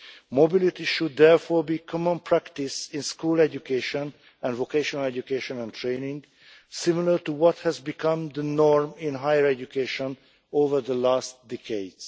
Mobility should therefore be common practice in school education and vocational education and training, similar to what has become the norm in higher education over the last decades.